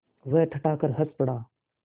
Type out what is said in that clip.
वह ठठाकर हँस पड़ा